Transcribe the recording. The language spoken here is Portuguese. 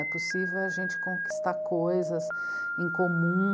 É possível a gente conquistar coisas em comum.